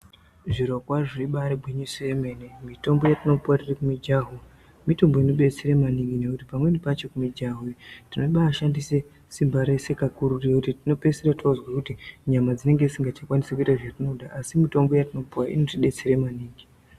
Zviro kwazvo ibaari gwinyiso yemene mithombo yetinopuwa tiri kumijaho mitombo inodetsera maningi nekuthi pamweni pacho kumijaho ino thinobaashandise simba rese kakuruthu zvekuthi dzinopeisira toozwe kuthi nyama dzinonge dzisikachakwanisi kuita zvese zvetinoda asi mithombo yetinopuwa inotidetsera maningi.